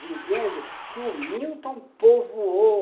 dizendo que o Milton povoou.